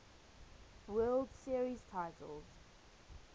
world series titles